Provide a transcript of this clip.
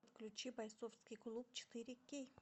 включи бойцовский клуб четыре кей